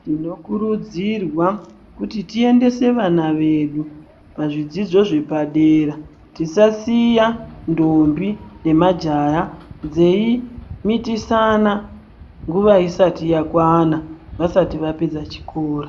Tinokurudzirwa kuti tiendese vana vedu pazvidzidzo zvepadera tisasiya ndombi nemajaya dzeimitisana nguva isati yakwana vasati vapedza chikora.